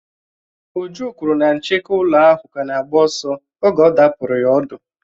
Uju kwuru na ncheke ụlọ ahụ ka na-agba ọsọ oge ọ̀ dàpuru ya ọ̀dú